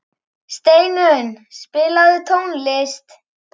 Steinunn, spilaðu tónlist.